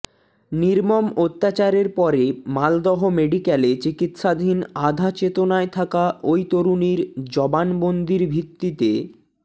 নির্মম অত্যাচারের পরে মালদহ মেডিক্যালে চিকিৎসাধীন আধা চেতনায় থাকা ওই তরুণীর জবানবন্দির ভিত্তিতে